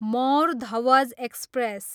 Mor Dhwaj express